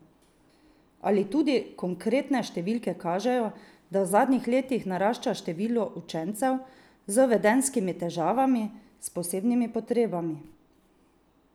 Ali tudi konkretne številke kažejo, da v zadnjih letih narašča število učencev z vedenjskimi težavami, s posebnimi potrebami?